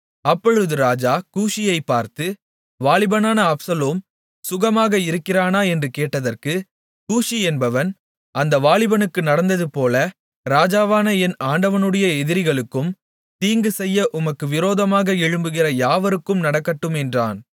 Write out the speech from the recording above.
அப்பொழுது ராஜா கூஷியைப் பார்த்து வாலிபனான அப்சலோம் சுகமாக இருக்கிறானா என்று கேட்டதற்கு கூஷி என்பவன் அந்த வாலிபனுக்கு நடந்ததுபோல ராஜாவான என் ஆண்டவனுடைய எதிரிகளுக்கும் தீங்கு செய்ய உமக்கு விரோதமாக எழும்புகிற யாவருக்கும் நடக்கட்டும் என்றான்